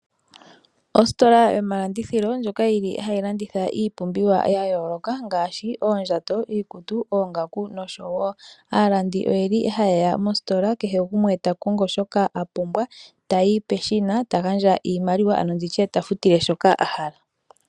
Ositola yomalandithilo ndjoka yili hayi landitha iipumbiwa ya yooloka ngaaashi oondjato, iikutu ,oongaku noshowo. Aalandi oyeli hayeya moositola kehe gumwe ta kongo shoka apumbwa e tayi peshina tagandja iimaliwa ano nditye tafutile shoka ahala.